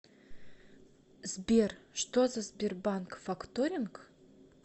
сбер что за сбербанк факторинг